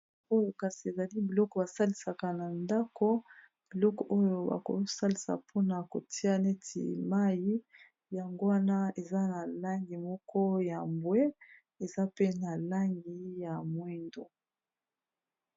oyo kasi ezali biloko basalisaka na ndako biloko oyo bakosalisa mpona kotia neti mai yango wana eza na langi moko ya mbwe eza pe na langi ya mwindo